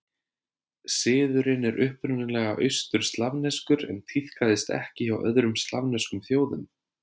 Siðurinn er upprunalega austur-slavneskur en tíðkaðist ekki hjá öðrum slavneskum þjóðum.